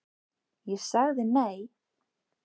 Ég sagði nei.